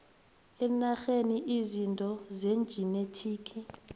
ngenarheni izinto zejinethiki